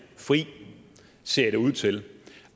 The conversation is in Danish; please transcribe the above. fri ser det ud til